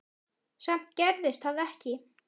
Samt gerðist það ekki.